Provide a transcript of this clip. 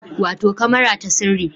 Wato kamara ta sirri